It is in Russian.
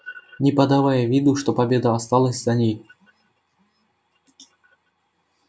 не подавая виду что победа осталась за ней